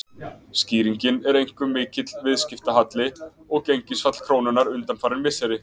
Skýringin er einkum mikill viðskiptahalli og gengisfall krónunnar undanfarin misseri.